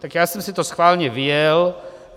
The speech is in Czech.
Tak já jsem si to schválně vyjel.